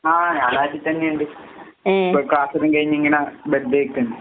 ആഹ് ഞാൻ നാട്ടീത്തന്നെയിണ്ട്. ഇപ്പ ക്ലാസ്സെല്ലാം കഴിഞ്ഞിങ്ങനെ ബെറുതേയ്‌ക്കാണ്.